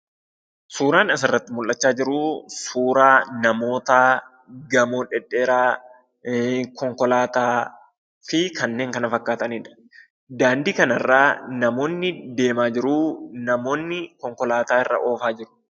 Suuraan asirratti mul'achaa jiruu suuraa namootaa, gamoo dhedheeraa, konkolaataa fi kanneen kana fakkaatanidha. Daandii kanarraa namoonni deemaa jiruu. Namoonni konkolaataa irra oofaa jiru.